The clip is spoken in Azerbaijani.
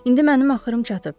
İndi mənim axırım çatıb.